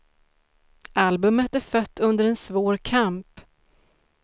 Albumet är fött under en svår kamp.